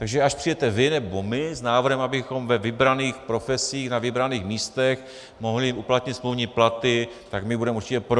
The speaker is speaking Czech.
Takže až přijdete vy nebo my s návrhem, abychom ve vybraných profesích na vybraných místech mohli uplatnit smluvní platy, tak my budeme určitě pro.